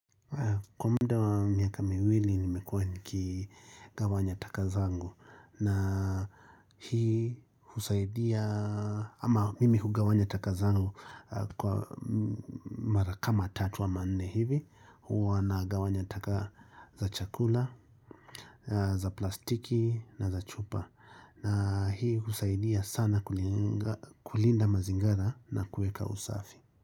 Kwa muda wa miaka miwili nimekuwa nikigawanya taka zangu na hii husaidia ama mimi hugawanya taka zangu kwa mara kama tatu ama nne hivi huwa nagawanya taka za chakula, za plastiki na za chupa na hii husaidia sana kulinda mazingara na kueka usafi.